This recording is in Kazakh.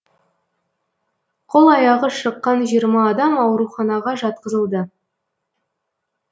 қол аяғы шыққан жиырма адам ауруханаға жатқызылды